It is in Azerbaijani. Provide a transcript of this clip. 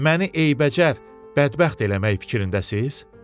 Məni eybəcər, bədbəxt eləmək fikrindəsiz?